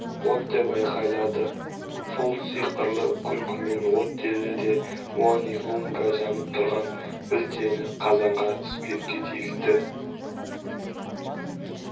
от деп айқайлады ол сиқырлы күлкімен от деді де муани-лунга жанып тұрған білтені қазандағы спиртке тигізді